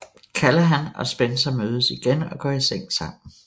Callahan og Spencer mødes igen og går i seng smamen